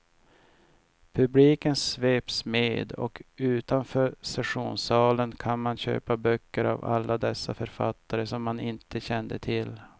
Publiken sveps med, och utanför sessionssalen kan man köpa böcker av alla dessa författare som man inte kände till.